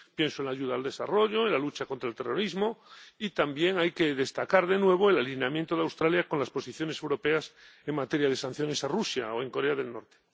Pienso en la ayuda al desarrollo, en la lucha contra el terrorismo, y también hay que destacar de nuevo el alineamiento de Australia con las posiciones europeas en materia de sanciones a Rusia o en Corea del Norte.